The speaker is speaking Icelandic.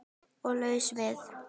Og laus við